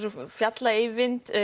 fjalla Eyvind